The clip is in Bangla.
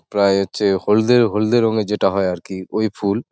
প্রায় হচ্ছে হলদে হলদে রং -এর যেটা হয় আর কি ওই ফুল ।